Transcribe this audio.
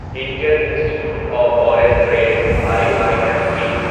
Indian Institute of Foreign Trade I I F T